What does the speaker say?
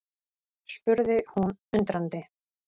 spurði hún undrandi.